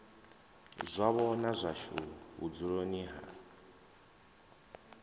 zwavho na zwashu vhudzuloni ha